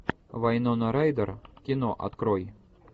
вайнона райдер кино открой